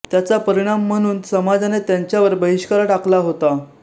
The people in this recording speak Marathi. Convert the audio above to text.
त्याचा परिणाम म्हणून समाजाने त्यांच्यावर बहिष्कार टाकला होता